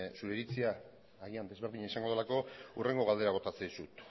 zure iritzia agian ezberdina izango delako hurrengo galdera bota dizut